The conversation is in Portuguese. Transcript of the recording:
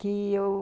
Que eu...